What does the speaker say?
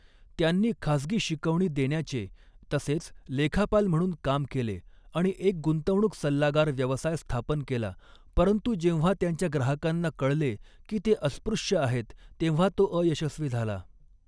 त्यांनी खासगी शिकवणी देण्याचे, तसेच लेखापाल म्हणून काम केले आणि एक गुंतवणूक सल्लागार व्यवसाय स्थापन केला, परंतु जेव्हा त्यांच्या ग्राहकांना कळले की ते अस्पृश्य आहेत, तेव्हा तो अयशस्वी झाला.